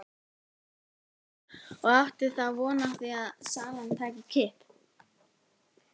Brynja: Og áttu þá von á því að salan taki kipp?